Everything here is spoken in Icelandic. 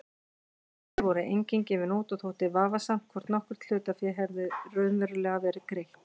Hlutabréf voru engin gefin út og þótti vafasamt hvort nokkurt hlutafé hefði raunverulega verið greitt.